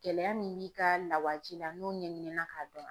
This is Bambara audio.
Gɛlɛya min b'i ka lawaji la n'o ɲɛɲinina k'a dɔn